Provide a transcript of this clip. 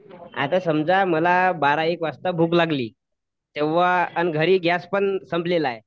आता समजा मला बारा एक वाजता भूक लागली, तेंव्हा अन घरी गॅस पण संपलेला आहे.